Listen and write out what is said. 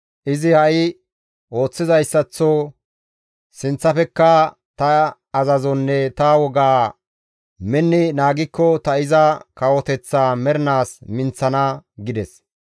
Izi ha7i ooththizayssaththo sinththafekka ta azazonne ta wogaa minni naagikko ta iza kawoteththaa mernaas minththana› gides.